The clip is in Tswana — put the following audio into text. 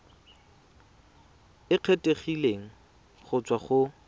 e kgethegileng go tswa go